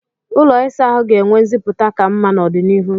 ụlọ ịsa ahụ ga-enwe nziputa ka mma n'ọdịnihu.